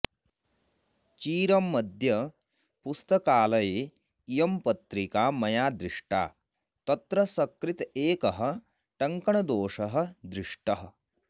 चिरमद्य पुस्तकालये इयं पत्रिका मया दृष्टा तत्र सकृत् एकः टङ्कणदोषः दृष्टः